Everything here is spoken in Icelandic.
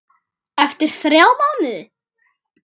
Eftir þrjá mánuði?